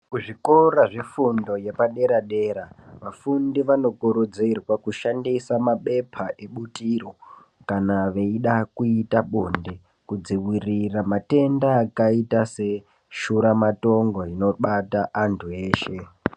Kuzvikora zvefundo yepadera dera vafundi vanokurudzirwa kushandisa mabepa ebutiro kana veida kuita bonde kudziwirira matenda akaita seshuramatongo inobata antu eshe.